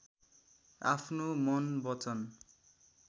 आफ्नो मन वचन